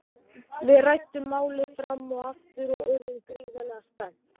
Við ræddum málið fram og aftur og urðum gríðarlega spennt.